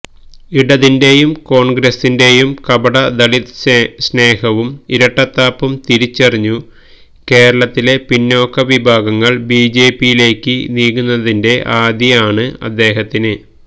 ഇടതിന്റെയും കോണ്ഗ്രസ്സിന്റെയും കപട ദളിത് സ്നേഹവും ഇരട്ടത്താപ്പും തിരിച്ചറിഞ്ഞു കേരളത്തിലെ പിന്നോക്ക വിഭാഗങ്ങള് ബിജെപിയിലേക്ക് നീങ്ങുന്നതിന്റെ ആധി ആണ് അദേഹത്തിന്